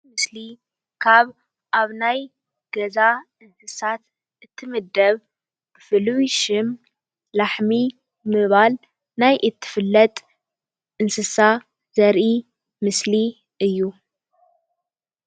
እዚ ምስሊ ካብ ኣብ ናይ ገዛ እንስሳይ እትምደብ ፍሉይ ሽም ላሕሚ ብምባል ናይ እትፍለጥ ዘርኢ እንስሳ ምስሊ እዩ፡፡